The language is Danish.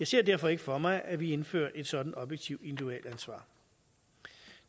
ser derfor ikke for mig at vi indfører et sådant objektivt individualansvar